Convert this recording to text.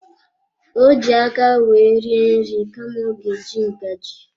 Ọ ji aka wee rie nri kama ọ ga eji ngaji.